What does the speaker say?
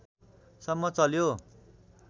सम्म चल्यो